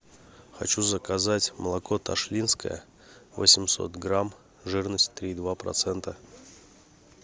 хочу заказать молоко ташлинское восемьсот грамм жирность три и два процента